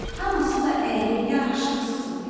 Hamısı da əyri, yaraşıqsız idi.